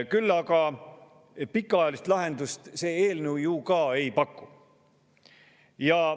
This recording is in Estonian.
Küll aga pikaajalist lahendust see eelnõu ju ka ei paku.